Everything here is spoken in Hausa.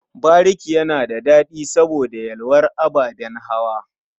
Bariki yana da daɗi saboda yalwar ababen hawa.